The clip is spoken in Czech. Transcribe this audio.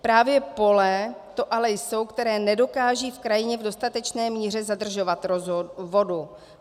Právě pole to ale jsou, která nedokážou v krajině v dostatečné míře zadržovat vodu.